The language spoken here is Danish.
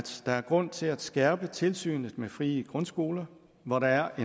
der er grund til at skærpe tilsynet med frie grundskoler hvor der er